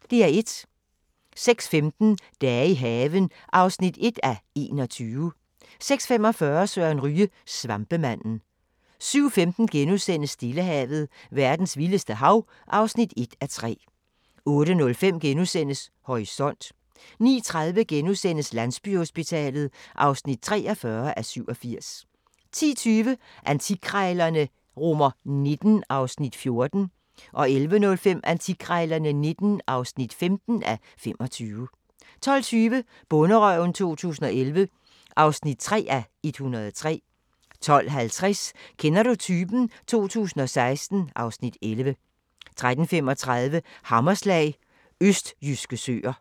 06:15: Dage i haven (1:21) 06:45: Søren Ryge: Svampemanden 07:15: Stillehavet – verdens vildeste hav (1:3)* 08:05: Horisont * 09:30: Landsbyhospitalet (43:87)* 10:20: Antikkrejlerne XIX (14:25) 11:05: Antikkrejlerne XIX (15:25) 12:20: Bonderøven 2011 (3:103) 12:50: Kender du typen? 2016 (Afs. 11) 13:35: Hammerslag – østjyske søer